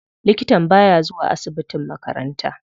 Likatan baya zuwa asibitin makaranta.